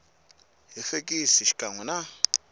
hi fekisi xikan we na